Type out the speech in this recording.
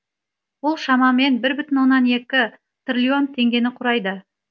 бұл шамамен бір бүтін оннан екі триллион теңгені құрайды